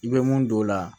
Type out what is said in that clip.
I bɛ mun don o la